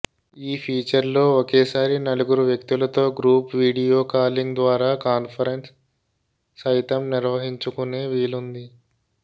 ఈ ఫీచర్ లో ఒకేసారి నలుగురు వ్యక్తులతో గ్రూప్ వీడియో కాలింగ్ ద్వారా కాన్ఫెరెన్స్ సైతం నిర్వహించుకునే వీలుంది